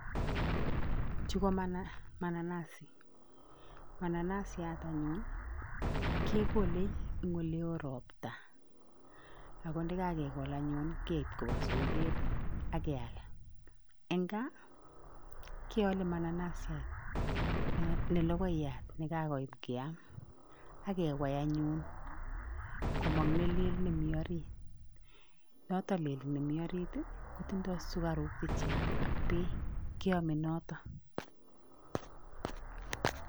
chu ko mananazi mananasiat anyun kekole eng oleo ropta ako ndekakekol anyun keip kopa soket ak keal. Eng gaa, keale mananasiat ne logoiyat nekakoit keam akewai anyun komong nelel nemi orit. Noto lel nemi orit, kotindoi sukaruk chechang ak beek, keome noto.